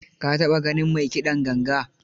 Ka taɓa ganin mai kiɗan ganga?